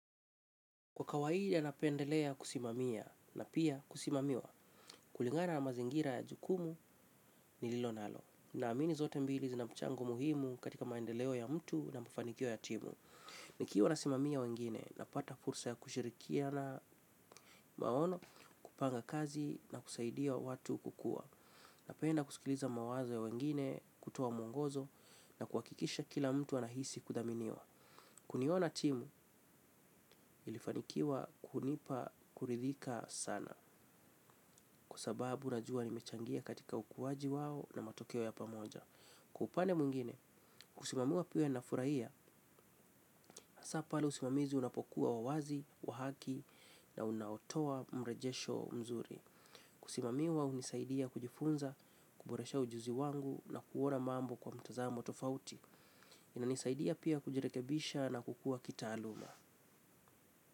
Kwa kawaida napendelea kusimamia na pia kusimamiwa kulingana na mazingira ya jukumu nililonalo. Naamini zote mbili zina mchango muhimu katika maendeleo ya mtu na mafanikio ya timu. Nikiwa nasimamia wengine napata fursa ya kushirikiana maono kupanga kazi na kusaidia watu kukua. Napenda kusikiliza mawazo ya wengine kutoa mwongozo na kuhakikisha kila mtu anahisi kuthaminiwa. Kuniona timu ilifanikiwa kunipa kuridhika sana. Kwa sababu najua nimechangia katika ukuaji wao na matokeo ya pamoja. Kwa upande mwengine, kusimamiwa pia huwa nafurahia hasa pale usimamizi unapokuwa wa uwazi, wa haki na unaotoa mrejesho mzuri. Kusimamiwa hunisaidia kujifunza, kuboresha ujuzi wangu na kuona mambo kwa mtazamo tofauti. Inanisaidia pia kujirekebisha na kukua kitaaluma.